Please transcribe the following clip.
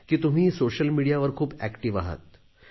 तुम्ही सोशल मिडियावर खूप कार्यरत आहात